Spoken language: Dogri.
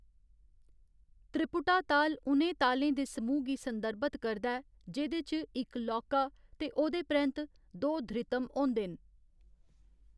त्रिपुटा ताल उ'नें तालें दे समूह् गी संदर्भत करदा ऐ जेह्‌‌‌दे च इक लौह्‌‌का ते ओह्‌‌‌दे परैंत्त दो धृतम होंदे न।